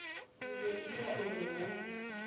zwa do ita uri hu